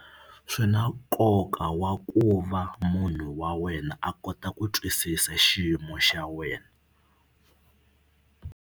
Swi na nkoka wa ku va munhu wa wena a kota ku twisisa xiyimo xa wena.